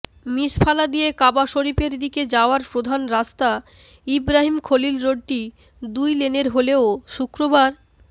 মিসফালা দিয়ে কাবা শরিফের দিকে যাওয়ার প্রধান রাস্তা ইবরাহিম খলিল রোডটি দুই লেনের হলেও শুক্রবার